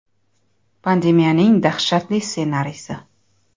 Pandemiyaning dahshatli ssenariysi.